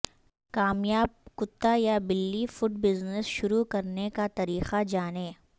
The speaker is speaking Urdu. کامیاب کتا یا بلی فوڈ بزنس شروع کرنے کا طریقہ جانیں